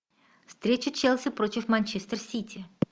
встреча челси против манчестер сити